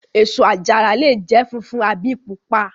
Èso àjàrà lè jẹ́ funfun àbí pupa.